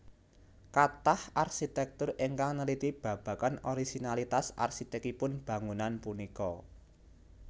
Kathah arsitektur ingkang neliti babagan orisinalitas arsitekipun bangunan punika